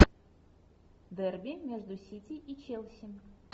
дерби между сити и челси